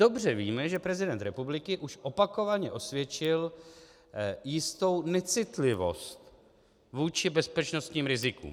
Dobře víme, že prezident republiky už opakovaně osvědčil jistou necitlivost vůči bezpečnostním rizikům.